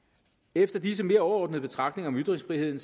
efter disse mere overordnede betragtninger om ytringsfriheden